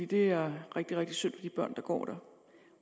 det er rigtig rigtig synd for de børn der går der